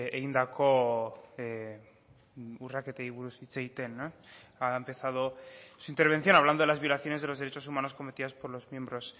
egindako urraketei buruz hitz egiten ha empezado su intervención hablando de las violaciones de los derechos humanos cometidas por los miembros